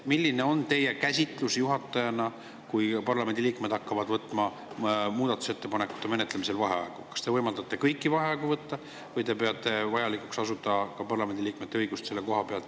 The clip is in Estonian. Milline on teie kui juhataja käsitus: kui parlamendi liikmed hakkavad muudatusettepanekute menetlemisel vaheaegu võtma, kas te võimaldate kõiki vaheaegu võtta või peate vajalikuks asuda parlamendi liikmete õigust piirama?